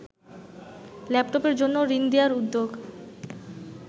ল্যাপটপের জন্য ঋণ দেয়ার উদ্যোগ